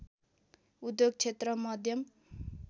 उद्योग क्षेत्र मध्यम